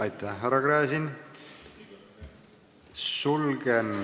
Aitäh, härra Gräzin!